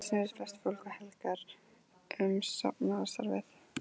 Brátt snerust flest kvöld og helgar um safnaðarstarfið.